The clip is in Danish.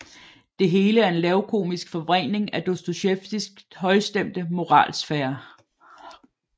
Det hele er en lavkomisk forvrængning af Dostojevskijs højstemte moralsfære